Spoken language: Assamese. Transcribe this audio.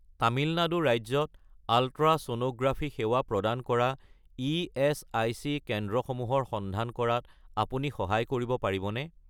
তামিলনাডু ৰাজ্যত আলট্ৰাছ'ন'গ্ৰাফি সেৱা প্ৰদান কৰা ইএচআইচি কেন্দ্ৰসমূহৰ সন্ধান কৰাত আপুনি সহায় কৰিব পাৰিবনে?